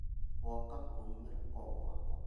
Woka kũnumĩra o gwakwa?